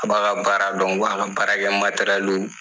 A b'a ka baara dɔn, wa a k' a baara kɛ